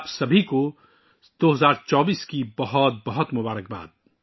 آپ سب کو 2024 کے لیے نیک خواہشات